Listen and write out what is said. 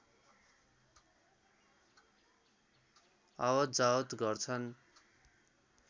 आवत जावत गर्छन्